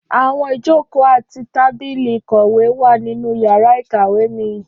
Áwọn ijoko ati tábìlì ìkọ̀wé wa ninu yàrá ìkàwé mi.